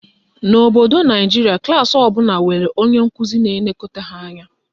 N'obodo Naijiria, klaasị ọbụla nwere otu onye nkụzi na-elekọta ha anya.